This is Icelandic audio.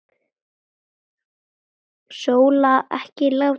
Sóla, ekki láta svona.